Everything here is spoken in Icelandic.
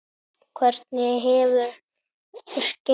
Hvernig hefur gengið?